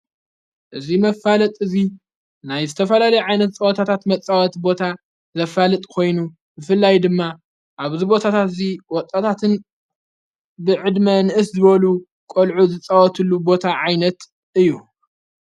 እዙይ መፋለጥ እዙይ ናይ ዝተፈላለ ዓይነት ጸወታታት መጸወት ቦታ ዘፋልጥ ኮይኑ እፍላይ ድማ ኣብዝበታታት እዙይ ወጣታትን ብዕድሚ ንእስ ዝበሉ ቖልዑ ዝጸወትሉ ቦታ ዓይነት እዩ።